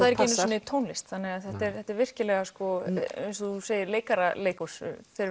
er ekki einu sinni tónlist þannig þetta er þetta er virkilega eins og þú segir leikara leikhús